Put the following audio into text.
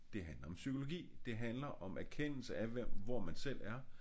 Det handler om psykologi det handler om erkendelse af hvor man selv er